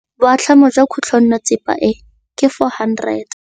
Boatlhamô jwa khutlonnetsepa e, ke 400.